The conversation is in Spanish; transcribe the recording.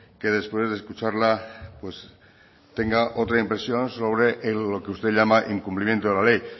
que después de escucharla pues tenga otra impresión sobre lo que usted llama incumplimiento de la ley